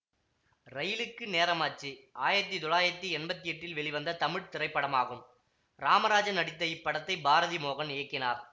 இரயிலுக்கு நேரமாச்சு ஆயிரத்தி தொள்ளாயிரத்தி எம்பத்தி எட்டில் வெளிவந்த தமிழ் திரைப்படமாகும் ராமராஜன் நடித்த இப்படத்தை பாரதி மோகன் இயக்கினார்